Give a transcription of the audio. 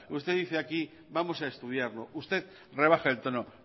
usted dice aquí vamos a estudiarlo usted rebaje el tono